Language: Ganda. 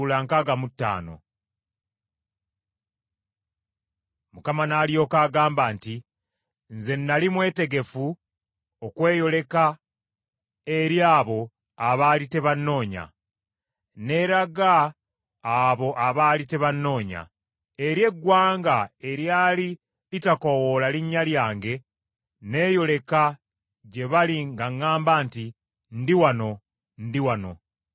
Mukama n’alyoka agamba nti, “Nze nnali mwetegefu okweyoleka eri abo abaali tebannoonya. Neeraga abo abaali tebannoonya. Eri eggwanga eryali litakoowoola linnya lyange nneyoleka gye bali ng’aŋŋamba nti, ‘Ndi wano, Ndi wano.’